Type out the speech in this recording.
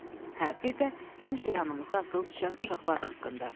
"Hə, bir də həmişə yanımızda atılıb düşən uşaqlar haqqında."